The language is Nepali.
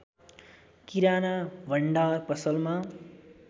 किराना भण्डार पसलमा